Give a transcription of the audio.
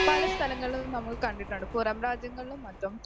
പല സ്ഥലങ്ങളിലും നമ്മൾ കണ്ടിട്ടുണ്ട്, പുറം രാജ്യങ്ങളിലും മറ്റും